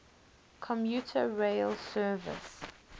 commuter rail service